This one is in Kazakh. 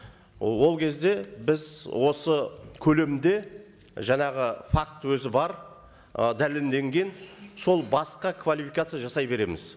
ы ол кезде біз осы көлемде жаңағы факті өзі бар ы дәлелденген сол басқа квалификация жасай береміз